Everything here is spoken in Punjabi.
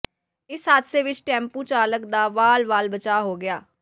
ਇਸ ਹਾਦਸੇ ਵਿੱਚ ਟੈਂਪੂ ਚਾਲਕ ਦਾ ਵਾਲ ਵਾਲ ਬਚਾਅ ਹੋ ਗਿਆ